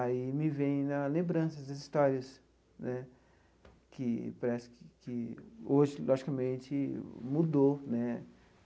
Aí me vem a lembrança das histórias né, que parece que hoje, logicamente, mudou né.